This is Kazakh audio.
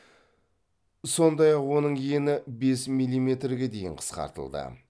сондай ақ оның ені бес миллиметрге дейін қысқартылды